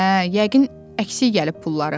Hə, yəqin əksik gəlib pulları.